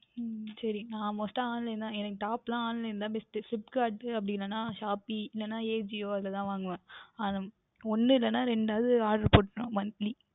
உம் சரி Must டாக Online தான் எனக்கு Top ல Online தான் BestFlipkart அப்படி இல்லையென்றால் Shopee இல்லையென்றால் Ajio அதில்தான் வாங்குவேன் அஹ் உம் ஒன்று இல்லை என்றால் இரண்டு ஆவது Order போட்டுவிடுவேன் Monthly